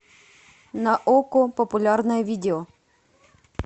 на окко популярное видео